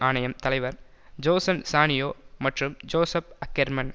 ஆணையம் தலைவர் ஜோசன் சானியோ மற்றும் ஜோசப் அக்கெர்மன்